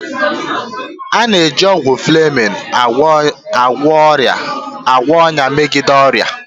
A na-eji ọgwụ fleming agwọ ọnya ya megide ọrịa